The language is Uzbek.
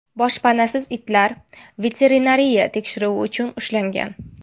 Boshpanasiz itlar veterinariya tekshiruvi uchun ushlangan.